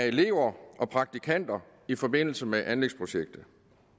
elever og praktikanter i forbindelse med anlægsprojektet